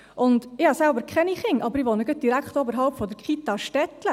Ich habe selbst keine Kinder, aber ich wohne direkt oberhalb der Kita Stettlen.